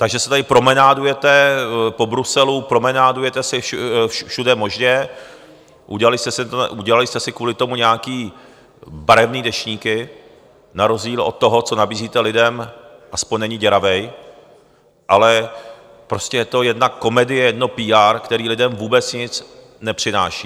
Takže se tady promenádujete po Bruselu, promenádujete se všude možně, udělali jste si kvůli tomu nějaké barevné deštníky - na rozdíl od toho, co nabízíte lidem, aspoň není děravý, ale prostě je to jedna komedie, jedno PR, které lidem vůbec nic nepřináší.